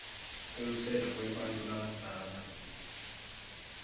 umtsetfo webantfu labadzala